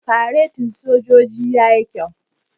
Faretin sojojin yayi kyau.